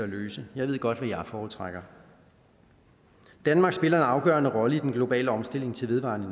løse jeg ved godt hvad jeg foretrækker danmark spiller en afgørende rolle i den globale omstilling til vedvarende